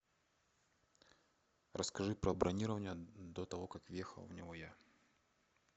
расскажи про бронирование до того как въехал в него я